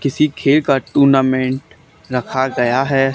किसी खेल का टूर्नामेंट रखा गया है।